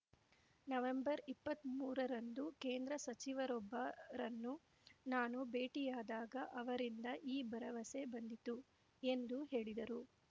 ನವೆಂಬರ್ಇಪ್ಪತ್ಮೂರರಂದು ಕೇಂದ್ರ ಸಚಿವರೊಬ್ಬರನ್ನು ನಾನು ಭೇಟಿಯಾದಾಗ ಅವರಿಂದ ಈ ಭರವಸೆ ಬಂದಿತು ಎಂದು ಹೇಳಿದರು